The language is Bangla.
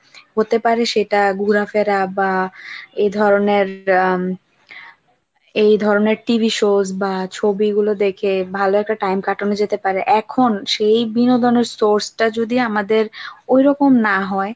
হতে পারে সেটা ঘুরাফেরা বা এ ধরনের এই ধরনের আহ এইধরণের TV shows বা ছবিগুলো দেখে ভালো একটা time কাটানো যেতে পারে এখন সেই বিনোদনের source টা যদি আমাদের ওইরকম না হয়।